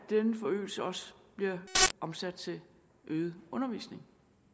denne forøgelse også bliver omsat til øget undervisning